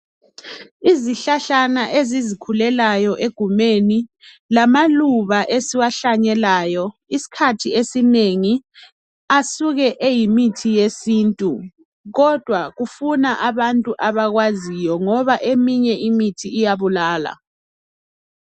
Izihlahlana ezizikhulelayo egumeni, lamaluba esiwahlanyelayo, isikhathi esinengi asuke engumuthi wesintu, kodwa kufuna abantu abakwaziyo ngoba eminye imithi iyabulala.